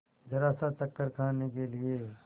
जरासा चक्कर खाने के लिए